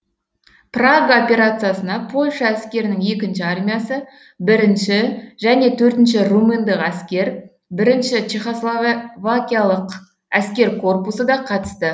прага операциясына польша әскерінің екінші армиясы бірінші және төртінші румындық әскер бірінші чехославакиялық әскер корпусы да қатысты